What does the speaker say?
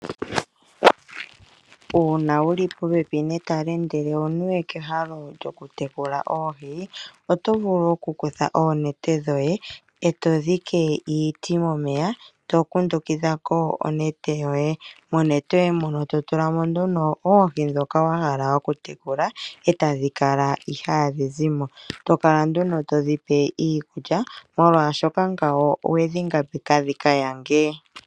Uuna wuli popepi netale ndele owuniwe kehalo lyoku tekula oohi ,otovulu oku kutha oonete dhoye eto dhike iiti momeya to kundukidhako onete yoye ,monete yoye muno to tulamo nduno oohi ndhoka wahala oku tekula etadhi kala ihadhi zimo tokala nduno todhipe iikulya molwaashoka ngawo owedhi ngambeka dhikayange.